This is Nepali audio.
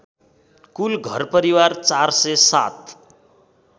कुल घरपरिवार ४०७